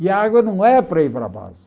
E a água não é para ir para a base.